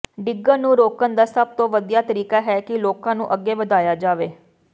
ਡਿੱਗਣ ਨੂੰ ਰੋਕਣ ਦਾ ਸਭ ਤੋਂ ਵਧੀਆ ਤਰੀਕਾ ਹੈ ਕਿ ਲੋਕਾਂ ਨੂੰ ਅੱਗੇ ਵਧਾਇਆ ਜਾਵੇ